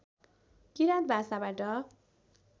किराँत भाषाबाट